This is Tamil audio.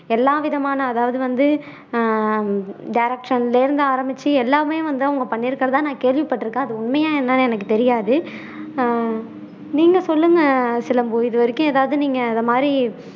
எல்லா விதமான அதாவது வந்து ஆஹ் direction ல இருந்து ஆரமிச்சு எல்லாமே வந்து அவங்க பண்ணியிருக்குறதா நான் கேள்விப்பட்டுருக்கேன் அது உண்மையா என்னன்னு எனக்கு தெரியாது ஆஹ் நீங்க சொல்லுங்க சிலம்பு இது வரைக்கும் எதாவது நீங்க இது மாதிரி